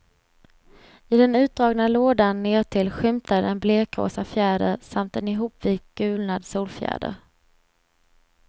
I den utdragna lådan nedtill skymtar en blekrosa fjäder samt en ihopvikt gulnad solfjäder.